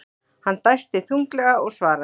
Hann dæsti þunglega og svaraði.